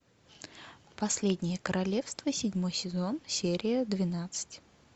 последнее королевство седьмой сезон серия двенадцать